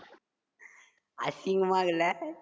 அசிங்கமா இருக்குலா